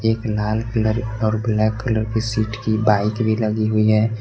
एक लाल कलर और ब्लैक कलर की सीट की बाइक भी लगी हुई है।